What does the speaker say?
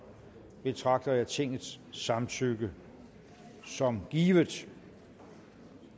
betragter jeg tingets samtykke som givet